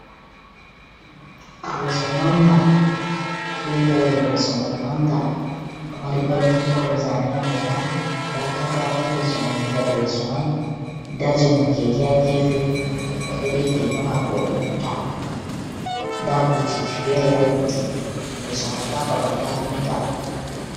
Leso manga, be hore leso mai manga, ɗo mari goldin kolo zane ha dou man. Nda katako leso mai ha nder leso mai. Nda jaumo keke ha gefe, o ɗo be keke mako o ɗo nyoota. Nda butiji fere ha leddi. Leso mai ɗo ha babal kafinta.